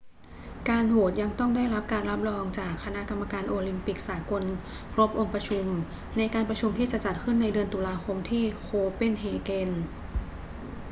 การโหวตยังต้องได้รับการรับรองจากคณะกรรมการโอลิมปิกสากลครบองค์ประชุมในการประชุมที่จะจัดขึ้นในเดือนตุลาคมที่โคเปนเฮเกน